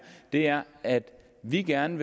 er at vi gerne